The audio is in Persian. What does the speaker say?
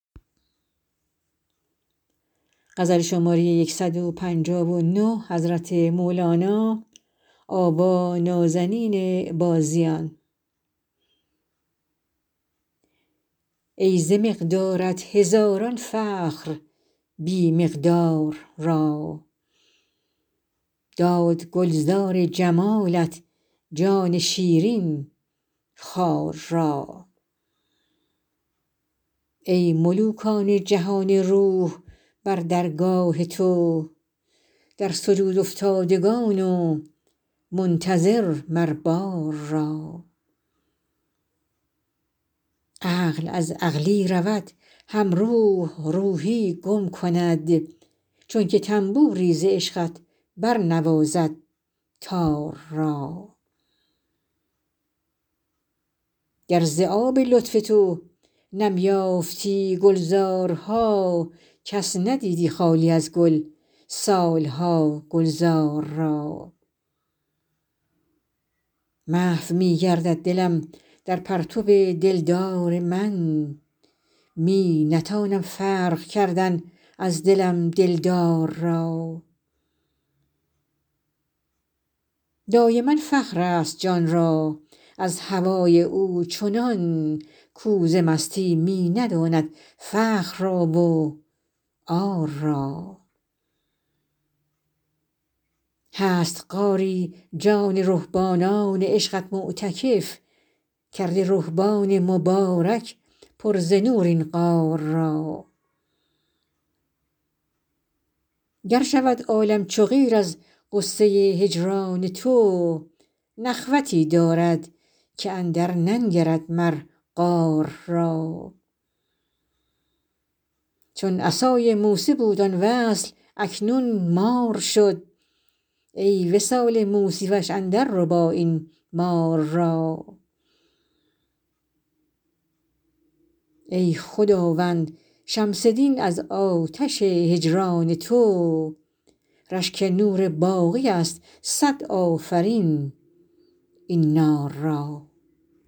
ای ز مقدارت هزاران فخر بی مقدار را داد گلزار جمالت جان شیرین خار را ای ملوکان جهان روح بر درگاه تو در سجودافتادگان و منتظر مر بار را عقل از عقلی رود هم روح روحی گم کند چونک طنبوری ز عشقت برنوازد تار را گر ز آب لطف تو نم یافتی گلزارها کس ندیدی خالی از گل سال ها گلزار را محو می گردد دلم در پرتو دلدار من می نتانم فرق کردن از دلم دلدار را دایما فخرست جان را از هوای او چنان کو ز مستی می نداند فخر را و عار را هست غاری جان رهبانان عشقت معتکف کرده رهبان مبارک پر ز نور این غار را گر شود عالم چو قیر از غصه هجران تو نخوتی دارد که اندرننگرد مر قار را چون عصای موسی بود آن وصل اکنون مار شد ای وصال موسی وش اندرربا این مار را ای خداوند شمس دین از آتش هجران تو رشک نور باقی ست صد آفرین این نار را